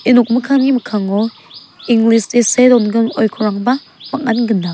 ia nokmikkangni mikkango english se see dongim oikorrangba bang·an gnang.